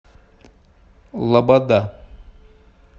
лобода